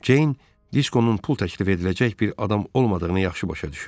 Ceyn Diskonun pul təklif ediləcək bir adam olmadığını yaxşı başa düşürdü.